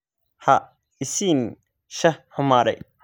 Ha i siin shaah xumaaday.